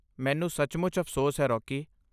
ਮੈਨੂੰ ਸੱਚਮੁੱਚ ਅਫ਼ਸੋਸ ਹੈ, ਰੌਕੀ।